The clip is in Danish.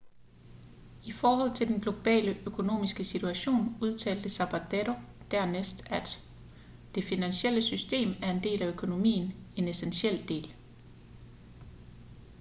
i forhold til den globale økonomiske situation udtalte zapatero dernæst at det finansielle system er en del af økonomien en essentiel del